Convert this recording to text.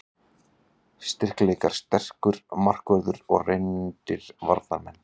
Styrkleikar: Sterkur markvörður og reyndir varnarmenn.